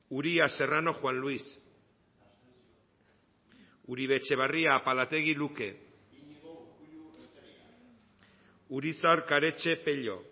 uria serrano juan luis uribe etxebarria apalategi luke urizar karetxe pello